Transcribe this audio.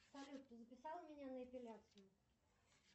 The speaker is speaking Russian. салют ты записала меня на эпиляцию